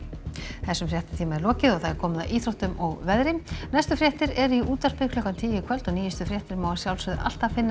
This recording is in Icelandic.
þessum fréttatíma er lokið og komið að íþróttum og veðri næstu fréttir eru í útvarpi klukkan tíu í kvöld og nýjustu fréttir má alltaf finna